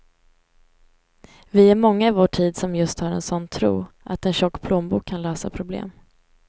Vi är många i vår tid som just har en sådan tro, att en tjock plånbok kan lösa problem.